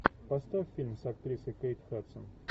поставь фильм с актрисой кейт хадсон